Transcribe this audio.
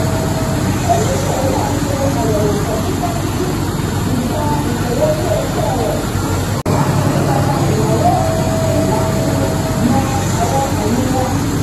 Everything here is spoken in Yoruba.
oníṣòwò náà ṣe àyẹ̀wò pẹkipẹki itan ìṣòwò ilé-iṣẹ́ rẹ̀ láti tọ́pa ináwó àti láti mọ́ àwọn àìlera